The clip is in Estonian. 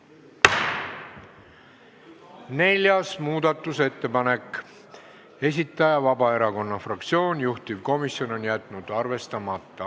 Neljanda muudatusettepaneku esitaja on Vabaerakonna fraktsioon, juhtivkomisjon on jätnud arvestamata.